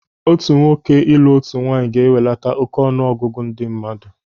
Otu nwoke ịlụ otu nwaanyị ga-ewelata óké ọnụ ọgụgụ ndị mmadụ.